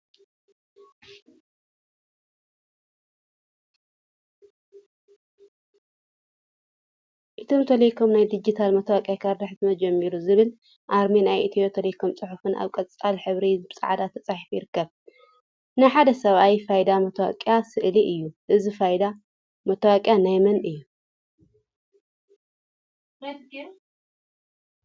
ኢትዮ ቴሌኮም ናይ ዲጂታል መታወቅያ ካርድ ሕትመት ጀሚሩ! ዝብልን አርማ ናይ ኢትዮ ቴሌኮም ፅሑፍን አብ ቆፃል ሕብሪ ብፃዕዳ ተፃሒፉ ይርከብ፡፡ ናይ ሓደ ሰብአይ ፋይዳ መታወቂያ ስእሊ እዩ፡፡ እዚ ፋይዳ መታወቂያ ናይ መን እዩ?